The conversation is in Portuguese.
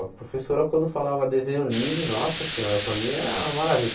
A professora, quando falava desenho livre, nossa senhora, para mim era uma